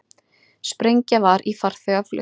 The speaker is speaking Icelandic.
Sprengja var í farþegavél